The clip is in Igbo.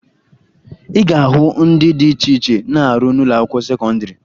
Ị ga-ahụ ndị dị iche iche na-arụ n'ụlọakwụkwọ sekọndịrị